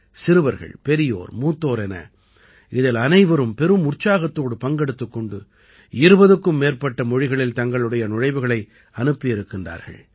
சிறுவர்கள் பெரியோர் மூத்தோர் என இதில் அனைவரும் பெரும் உற்சாகத்தோடு பங்கெடுத்துக் கொண்டு 20க்கும் மேற்பட்ட மொழிகளில் தங்களுடைய நுழைவுகளை அனுப்பி இருக்கிறார்கள்